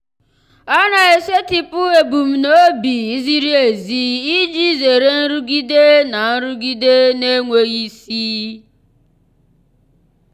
ọ na-esetịpụ ebumnobi ziri ezi iji zere nrụgide na nrụgide na-enweghị isi.